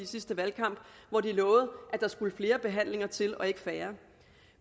sidste valgkamp hvor de lovede at der skulle flere behandlinger til og ikke færre